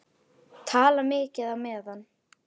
Tala mikið á meðan.